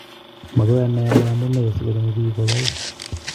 Makoy anai ale amune sikochome pik koyaai